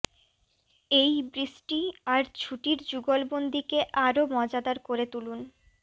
এই বৃষ্টি আর ছুটির যুগলবন্দীকে আরও মজাদার করে তুলুন